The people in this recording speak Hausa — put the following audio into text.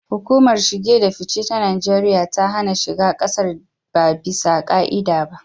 Hukumar shige da fice ta Najeriya ta hana shiga kasar ba ɓisa ka'ida ba.